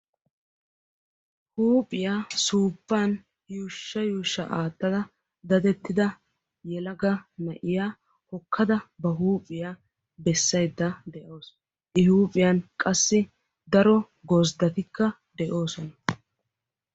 Huuphiya suuppan yuushsha yuushsha aattada dadettida yelaga na'iya hokkada ba huuphiya bessaydda de"awusu. I huuphiyan qassi daro gozddatikka de'oosona.